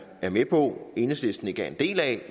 er med på at enhedslisten ikke er en del af